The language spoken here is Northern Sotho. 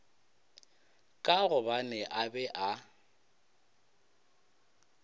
ka gobane a be a